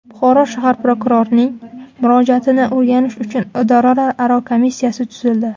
Buxoro shahar prokurorining murojaatini o‘rganish uchun idoralararo komissiyasi tuzildi.